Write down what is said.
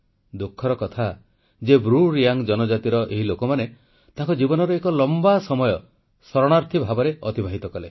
ଦୁଃଖର କଥା ଯେ ବ୍ରୁ ରିୟାଙ୍ଗ ଜନଜାତିର ଏହି ଲୋକମାନେ ତାଙ୍କ ଜୀବନର ଏକ ଲମ୍ବା ସମୟ ଶରଣାର୍ଥୀ ଭାବରେ ଅତିବାହିତ କଲେ